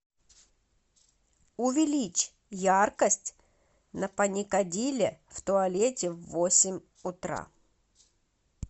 увеличь яркость на паникадиле в туалете в восемь утра